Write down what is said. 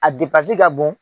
A ka bon.